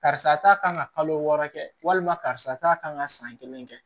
Karisa ta kan ka kalo wɔɔrɔ kɛ walima karisa ta kan ka san kelen kɛ